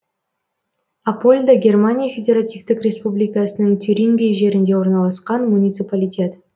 апольда германия федеративтік республикасының тюрингия жерінде орналасқан муниципалитет